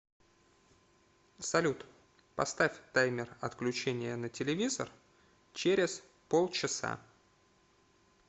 салют поставь таймер отключения на телевизор через полчаса